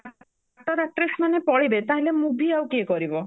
actor actress ମାନେ ପଳେଇବେ ତାହେଲେ movie ଆଉ କିଏ କରିବ